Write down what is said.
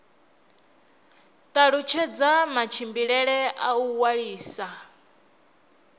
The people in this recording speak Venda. talutshedza matshimbidzele a u ṅwalisa